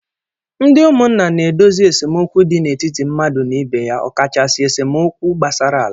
Ndị ụmụnna na-edozi esemokwu dị n'etiti mmadụ na ibe ya, ọkachasị esemokwu gbasara ala.